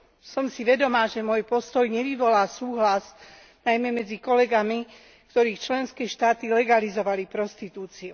Som si vedomá toho, že môj postoj nevyvolá súhlas najmä medzi kolegami, ktorých členské štáty legalizovali prostitúciu.